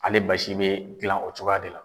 Ale basi bɛ dilan o cogoya de la.